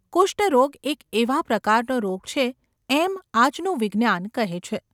કુષ્ટરોગ એક એવા પ્રકારનો રોગ છે એમ આજનું વિજ્ઞાન કહે છે.